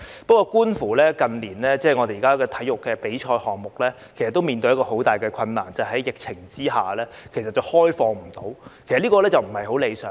不過，近年體育比賽面對很大的困難，就是在疫情下，不能開放比賽，其實這不太理想。